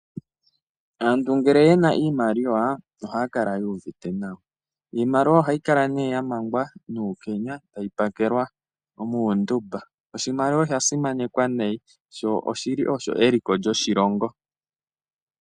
Aantu ngele yena iimaliwa ohaya kala yuuvite nawa. Iimaliwa ohayi kala ne yamangwa nuukenya etayi pakelwa muunduba. Oshimaliwa osha simanekwa nayi sho oshili osho eliko lyoshilongo.